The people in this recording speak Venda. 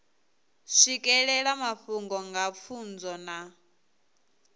swikelela mafhungo nga pfunzo na